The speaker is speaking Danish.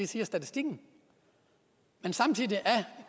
siger statistikken men